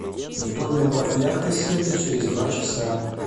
в доме убавь яркость света через два часа